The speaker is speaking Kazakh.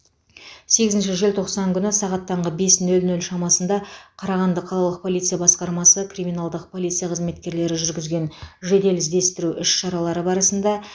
сегізінші желтоқсан күні сағат таңғы бес нөл нөл шамасында қарағанды қалалық полиция басқармасы криминалдық полиция қызметкерлері жүргізген жедел іздестіру іс шаралары барысында